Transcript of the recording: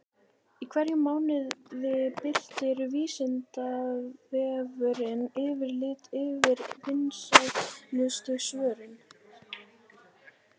Í hverjum mánuði birtir Vísindavefurinn yfirlit yfir vinsælustu svörin.